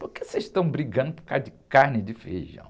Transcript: Por que vocês estão brigando por causa de carne de feijão?